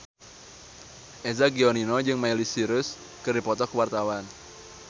Eza Gionino jeung Miley Cyrus keur dipoto ku wartawan